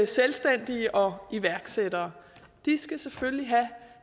selvstændige og iværksættere de skal selvfølgelig have